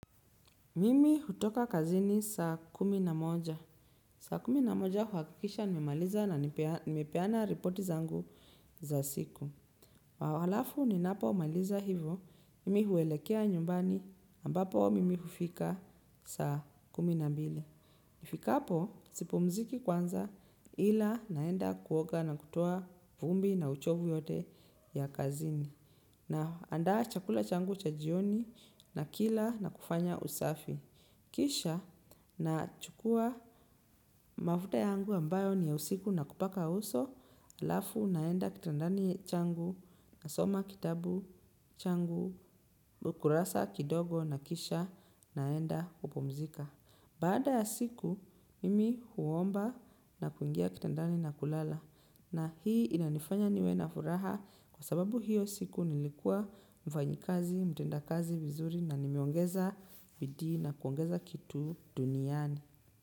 Mimi hutoka kazini saa kumi na moja. Saa kumi na moja huakikisha nimemaliza na nimepeana reporti zangu za siku. Halafu ninapomaliza hivo, mimi huelekea nyumbani ambapo mimi hufika saa kumi na mbili. Nifikapo sipumziki kwanza ila naenda kuoga na kutoa vumbi na uchovu yote ya kazini. Naandaa chakula changu cha jioni na kila na kufanya usafi. Kisha nachukua mafuta yangu ambayo ni ya usiku na kupaka uso alafu naenda kitandani changu nasoma kitabu changu kurasa kidogo na kisha naenda kupumzika. Baada ya siku, mimi huomba na kuingia kitandani na kulala. Na hii inanifanya niwe na furaha kwa sababu hiyo siku nilikua mfanyikazi, mtenda kazi vizuri na nimeongeza bidii na kuongeza kitu duniani.